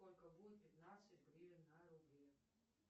сколько будет пятнадцать гривен на рубли